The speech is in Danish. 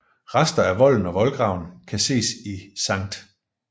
Rester af volden og voldgraven kan ses i Skt